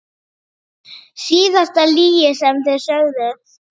Síðasta lygi sem þið sögðuð?